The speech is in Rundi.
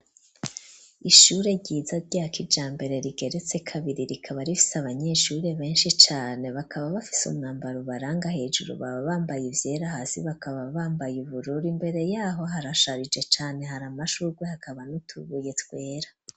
Ishure ryiza ryakijambere rigeretse kabiri rikaba rifise abanyeshure benshi cane bakaba bafise umwambaro ubaranga hejuru baba bambaye ivyera hasi bakaba bambaye iburura imbere yaho harasharije cane hari amashurwe hakaba nutubuye twera.